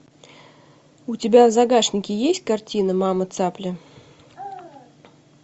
у тебя в загашнике есть картина мама цапля